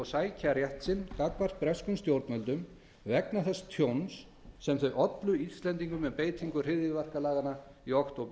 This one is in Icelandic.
sækja rétt sinn gagnvart breskum stjórnvöldum vegna þess tjóns sem þau ollu íslendingum með beitingu hryðjuverkalaganna í októberbyrjun